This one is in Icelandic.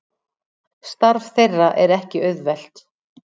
Starf þeirra er ekki auðvelt